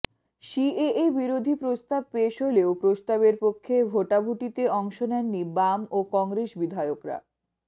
CAA বিরোধী প্রস্তাব পেশ হলেও প্রস্তাবের পক্ষে ভোটাভুটিতে অংশ নেননি বাম ও কংগ্রেস বিধায়করা